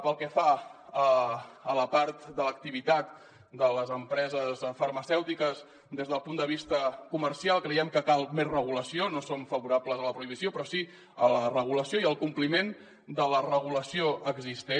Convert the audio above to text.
pel que fa a la part de l’activitat de les empreses farmacèutiques des del punt de vista comercial creiem que cal més regulació no som favorables a la prohibició però sí a la regulació i al compliment de la regulació existent